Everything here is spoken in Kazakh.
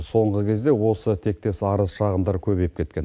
соңғы кезде осы тектес арзы шағымдар көбейіп кеткен